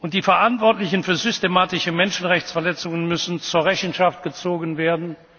Staates. Die Verantwortlichen für systematische Menschenrechtsverletzungen müssen zur Rechenschaft gezogen